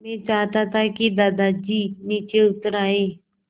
मैं चाहता था कि दादाजी नीचे उतर आएँ